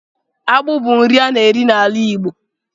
Akpụ bu nri a na-eri n'ala Igbo